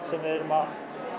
sem við erum að